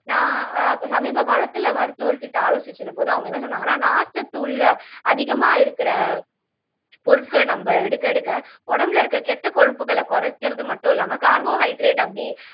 நான் சமீப காலத்துல மருத்துவர் கிட்ட ஆலோசிச்ச போது அவங்க என்ன சொன்னாங்கன்னா நார்ச்சத்து உள்ள அதிகமா இருக்கிற பொருட்கள நம்ம எடுக்க எடுக்க உடம்புல இருக்க கெட்ட கொழுப்புகளை குறைக்கிறது மட்டும் இல்லாம கார்போஹைட்ரேட் அப்படி